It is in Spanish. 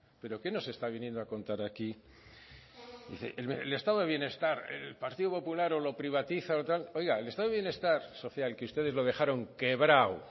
pero qué nos está viniendo a contar aquí dice el estado de bienestar el partido popular o lo privatiza o tal oiga el estado de bienestar social que ustedes lo dejaron quebrado